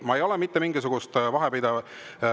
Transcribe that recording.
Ma ei ole mitte mingisugust vahet teinud.